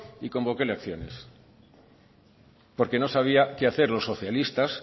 y convocó elecciones porque no sabía qué hacer los socialistas